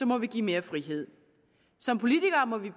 må vi give mere frihed som politikere må vi